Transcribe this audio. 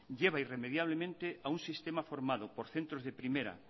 lleva irremediablemente a un sistema formado por centros de primera